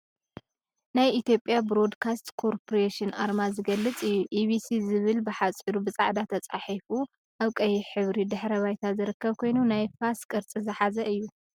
ናይ ኢትዮጵያ ብሮድ ካስት ኮርፖሬሽን አርማ ዝገልፅ እዩ፡፡ ኢቢሲ ዝብል ብሓፂሩ ብፃዕዳ ተፃሒፉ አብ ቀይሕ ሕብሪ ድሕረ ባይታ ዝርከብ ኮይኑ፤ ናይ ፋስ ቅርፂ ዝሓዘ እዩ፡፡